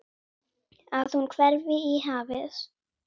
Að hún hverfi í hafið.